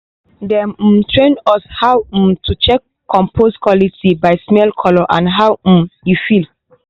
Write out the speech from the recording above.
dem um train us how um to check compost quality by smell colour and how um e feel.